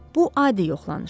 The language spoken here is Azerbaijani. Bu adi yoxlanışdır.